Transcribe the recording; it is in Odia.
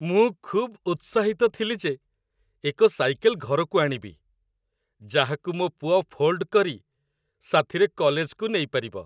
ମୁଁ ଖୁବ୍ ଉତ୍ସାହିତ ଥିଲି ଯେ ଏକ ସାଇକେଲ ଘରକୁ ଆଣିବି, ଯାହାକୁ ମୋ ପୁଅ ଫୋଲ୍ଡ କରି ସାଥିରେ କଲେଜକୁ ନେଇପାରିବ।